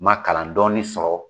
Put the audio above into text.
Ma kalan dɔɔni sɔrɔ